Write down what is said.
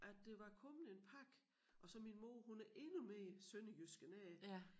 At der var kommet en pakke og så min mor hun er endnu mere sønderjysk end jeg er